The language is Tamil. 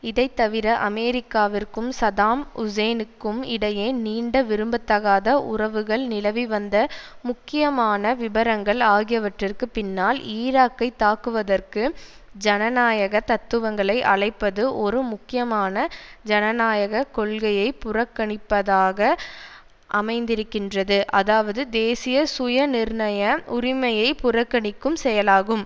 இதைத்தவிர அமெரிக்காவிற்கும் சதாம் ஹூசேனுக்கும் இடையே நீண்ட விரும்பத்தகாத உறவுகள் நிலவிவந்த முக்கியமான விபரங்கள் ஆகியவற்றிற்கு பின்னால் ஈராக்கை தாக்குவதற்கு ஜனநாயக தத்துவங்களை அழைப்பது ஒரு முக்கியமான ஜனநாயக கொள்கையை புறக்கணிப்பதாக அமைந்திருக்கின்றது அதாவது தேசிய சுயநிர்ணய உரிமையை புறக்கணிக்கும் செயலாகும்